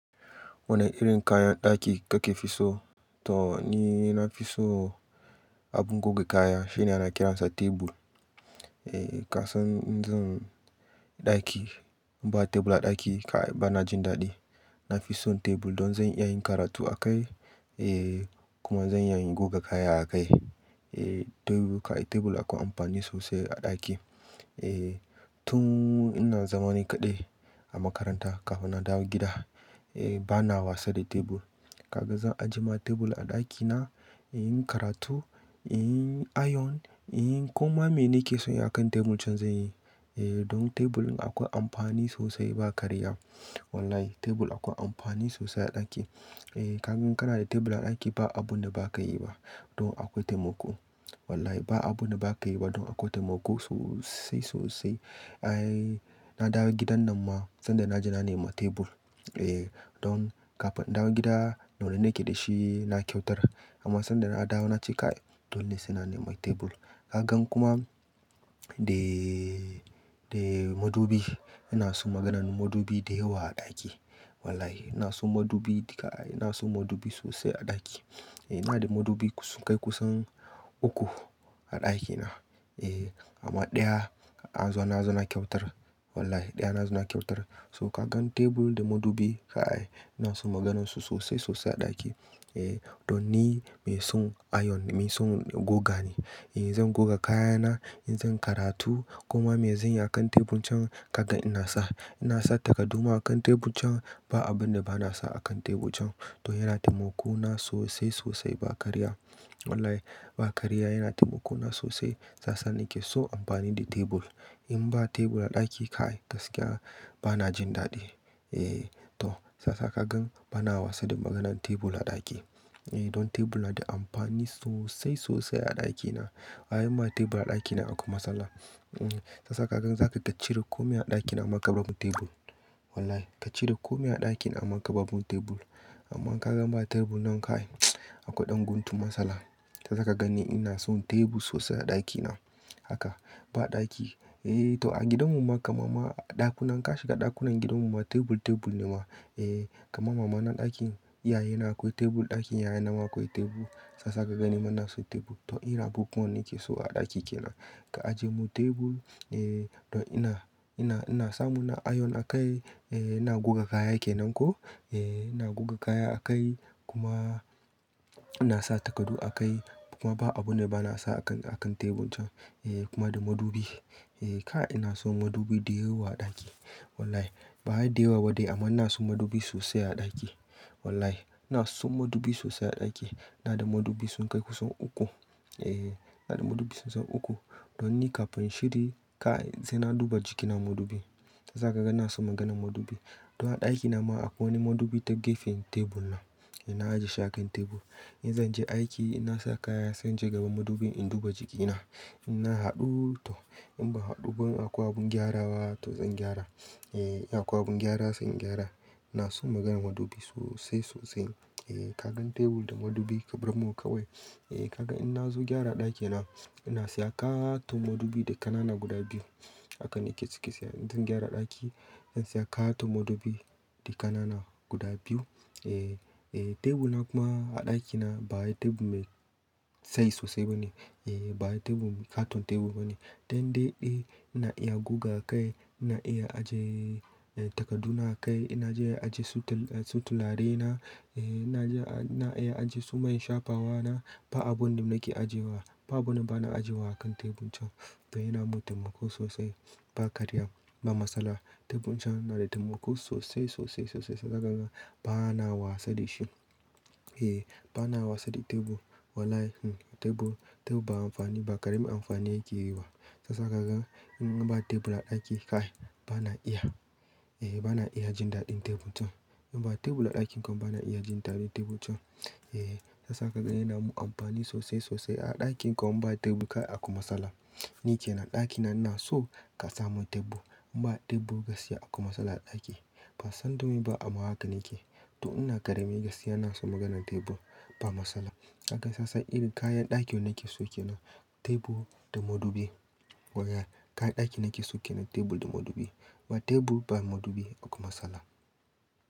Wani irin kayan ɗaki kake fi so? To ni na fi so abun goga kaya, shine ina kiransa tebur. E, kasan in zan ɗaki in ba tebur a ɗaki, kai bana jin daɗi. Na fi son tebur don zan iya yin karatu a kai, e kuma zan iya yin goga kaya a kai. E, tebur, kai tebur akwai amfani sosai a ɗaki. E, tun ina zaman ni kaɗai a makaranta kafin na dawo gida, e bana wasa da tebur. Kaga zan ajiye ma tebur a ɗakina, in yi karatu, in yi ayon, in yi kuma mene ke so yi akan tebur can zan yi. E, don tebur akwai amfani sosai ba karya. Wallahi tebur akwai amfani sosai a ɗaki. E, ka gan ka na da tebur a ɗaki ba abu da ba ka yi ba. Don akwai taimako. Wallahi ba abu ne ba ka yi ba don akwai taimako sosai sosai. Ai na dawo gidan nan ma sanda na ji na nema tebur. E, don kafin in dawo gida, wanda nake da shi na kyautar. Amma sanda na dawo na ce kai dole suna nema tebur. Ka gan kuma, de, de madubi, ina son maganan madubi da yawa a ɗaki. Wallahi ina son madubi kai ina son madubi sosai a ɗaki. E, ina da madubi sun kai kusan uku a ɗakina. E, amma ɗaya an zo na zo na kyautar. Wallahi ɗaya na zo na kyautar. So ka gan tebur da madubi kai ina son maganinsu sosai sosai a ɗaki. E, don ni mai son ayon, mai son goga ne. E zan goga kayana, in zan karatu kuma me zan yi akan tebur can, kaga ina sa. Ina sa takadu ma akan tebur can. Ba abun da bana sa akan tebur can. To yana taimako na sosai sosai ba karya. Wallahi ba karya yana taimako na sosai. Shiyasa nake so amfani da tebur. In ba tebur a ɗaki ka'ai gaskiya bana jin daɗi. E, to sasa ka gan bana wasa da maganan tebur a ɗaki. E, don tebur na da amfani sosai sosai a ɗakina. Ai in ba tebur a ɗaki na akwai matsala. E, sasa ka gan zaka kacire komai a ɗakin amma ka bar min tebur. Wallahi kacire komai a ɗakin amma ka bar min tebur. Amma ka gan ba tebur nan ka'ai akwai ɗan guntu matsala. Shiyasa ka gani ina son tebur sosai a ɗaki na. Haka ba ɗaki, e to a gidan mu ma, kama ma ɗakunan ka shiga ɗakunan gidan mu ma tebur tebur ne ma. E, kama mama na ɗakin yaya yana akwai tebur, ɗakin yaya na ma akwai tebur. Shiyaswsa ka gani ma ina son tebur. To irin abubuwan da nake so a ɗaki kenan. Ka ajiye mun tebur, e don ina, ina, ina samu na ayon a kai, e ina goga kaya kenan ko, e ina goga kaya a kai kuma ina sa takadu a kai. Kuma ba abu ne bana sa a kan, a kan tebur can. E kuma da madubi. E kai ina son madubi da yawa a ɗaki. Wallahi ba da yawa waɗai amma ina son madubi sosai a ɗaki. Wallahi ina son madubi sosai a ɗaki. Ina da madubi sun kai kusan uku. E, ina da madubi sun san uku. Don ni kafin shiri kai sai na duba jikina madubi. Shiyasa ka ga ina son maganan madubi. To a ɗaki na ma akwai wani madubi ta gefen tebur nan. Ina ajiye sha kan tebur. In zan je aiki ina sa kaya sai jeka gaban madubin in duba jikina. Ina haɗu to in ba haɗu akwai abin gyara wa to zan gyara. E, akwai abin gyara sai in gyara. Ina son maganan madubi sosai sosai. E, ka gan tebur da madubi ka bar mu ka wai. E ka gan in na zo gyara ɗaki na, ina siya katon madubi da ƙanana guda biyu. Haka nake cike siya in zan gyara ɗaki. Ina siya katon madubi da ƙanana guda biyu. E, tebur na kuma a ɗaki na ba yi tebur me tsayi sosai ba ne. E, ba yi tebur, katon tebur ba ne. Dan daiɗai ina iya goga a kai, ina iya ajiye, e takadu na a kai, ina iya ajiye sutal, su tulare na. E ina iya ajiye su mai shafawa na. Ba abun da nake ajiyewa, ba abun da bana ajiyewa a kan tebur can. To yana mun taimako sosai ba karya, ba matsala. Tebur can yana da taimako sosai sosai sosai sosai. Shiyasa ka gan bana wasa da shi. E, bana wasa da tebur. Wallahi tebur, tebur ba amfani ba ƙaramin amfani yake yi ba. Sasa ka gan in ba tebur a ɗaki ka'ai bana iya. E bana iya jin daɗin tebur can. In ba tebur a ɗakin kuma bana iya jin daɗin tebur can. E, shiyasa ka gani yana mun amfani sosai sosai a ɗakin kuma in ba tebur ka'ai akwai matsala. Ni ke nan ɗaki na ina so ka sa mun tebur. Ba tebur gaskiya akwai matsala a ɗaki. Ba san domin ba amma haka nake. To ina ƙarami gaskiya ina son maganan tebur. Ba matsala. Ka ga shiyasa irin kayan ɗaki nake so ke nan tebur da madubi. Wallahi kayan ɗaki nake so ke nan tebur da madubi. Ba tebur ba madubi akwai matsala.